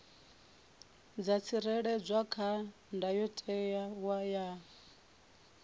dza tsireledzwa kha ndayotewa ya